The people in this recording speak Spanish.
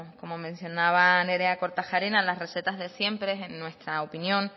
como mencionaba nerea kortajarena las recetas de siempre en nuestra opinión